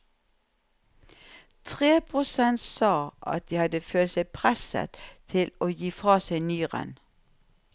Tre prosent sa at de hadde følt seg presset til å gi fra seg nyren.